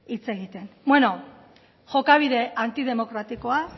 hitz egiten beno jokabide antidemokratikoa